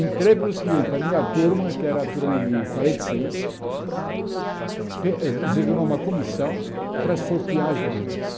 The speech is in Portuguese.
Entrei pelo seguinte, a minha turma, que era a turma de quarenta e seis, fe designou uma comissão para sortear as vagas.